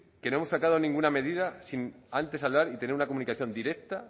que no hemos sacado ninguna medida sin antes hablar y tener una comunicación directa